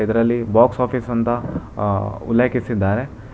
ಇದ್ರಲ್ಲಿ box office ಅಂತ ಅ ಉಲ್ಲೇಖಿಸಿದ್ದಾರೆ.